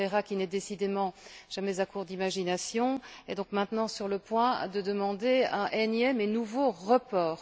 Moreira, qui n'est décidément jamais à court d'imagination, est donc maintenant sur le point de demander un énième et nouveau report.